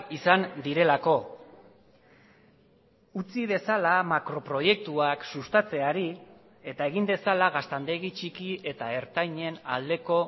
izan direlako utzi dezala makro proiektuak sustatzeari eta egin dezala gaztandegi txiki eta ertainen aldeko